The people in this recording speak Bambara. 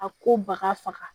A ko baka faga